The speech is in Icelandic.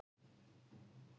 Talsverður erill hjá lögreglu